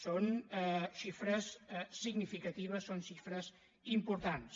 són xifres significatives són xifres importants